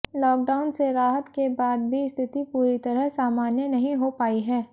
lockdown से राहत के बाद भी स्थिति पूरी तरह सामान्य नहीं हो पाई है